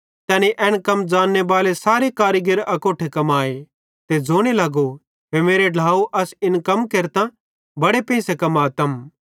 तैनी एन कम ज़ांन्ने बाले सारे कारीगिर अकोट्ठे कमाए ते ज़ोने लगो हे मेरे ढ्लाव असां इन कम केरतां बड़े पेंइसे कमातम